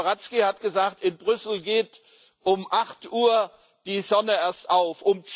Herr Liberadzki hat gesagt In Brüssel geht um acht Uhr die Sonne erst auf.